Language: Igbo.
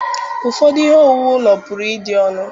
Ụfọdụ ihe owuwu ụlọ pụrụ ịdị ọnụ.